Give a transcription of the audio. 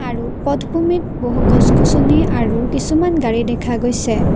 আৰু পথ ভূমিত বহু গছ-গছনি আৰু কিছুমান গাড়ী দেখা গৈছে।